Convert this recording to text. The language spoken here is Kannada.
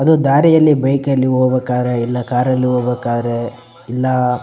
ಅದು ದಾರಿಯಲ್ಲಿ ಬೈಕ್ ಅಲ್ಲಿ ಹೋಗ್ಬೇಕಾದ್ರೆ ಇಲ್ಲ ಕಾರ ಲ್ಲಿ ಹೋಗ್ಬೇಕಾದ್ರೆ ಇಲ್ಲ --